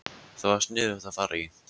Það var sniðugt að fara í